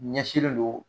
Ɲɛsinlen don